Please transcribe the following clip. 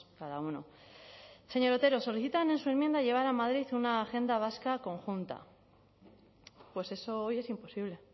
cada uno señor otero solicitan en su enmienda llevar a madrid una agenda vasca conjunta pues eso hoy es imposible